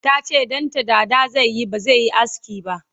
tace ɗanta dada zaiyi bazaiyi aski ba